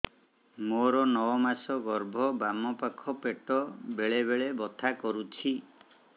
ମୋର ନଅ ମାସ ଗର୍ଭ ବାମ ପାଖ ପେଟ ବେଳେ ବେଳେ ବଥା କରୁଛି